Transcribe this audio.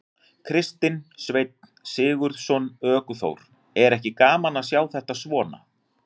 Kristinn Sveinn Sigurðsson, ökuþór: Er ekki gaman að sjá þetta svona?